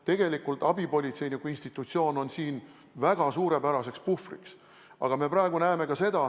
Tegelikult on abipolitseiniku institutsioon väga suurepärane puhver.